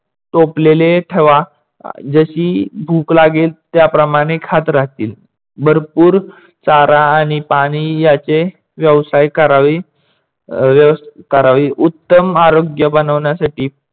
टोपलेले ठेवा. जशी भूक लागेल त्याप्रमाणे खात राहतील. भरपूर चारा आणि पाणी याचे व्यवसाय करावे. अह व्‍यवस्‍था करावी. उत्तम आरोग्य बनवण्यासाठी